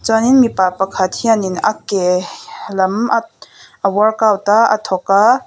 chuanin mipa pakhat hianin a ke lam a workout a a thawk a.